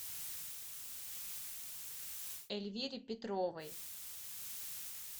эльвире петровой